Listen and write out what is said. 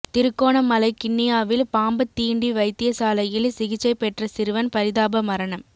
திருகோணமலை கிண்ணியாவில் பாம்பு தீண்டி வைத்தியசாலையில் சிகிச்சை பெற்ற சிறுவன் பரிதாப மரணம்